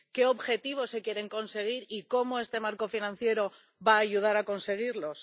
¿Qué objetivos se quieren conseguir y cómo este marco financiero va a ayudar a conseguirlos?